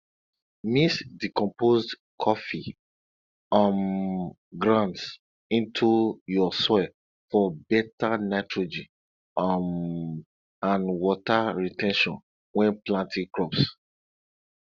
mix decomposed coffee um grounds into your soil for better nitrogen um and water re ten tion when planting crops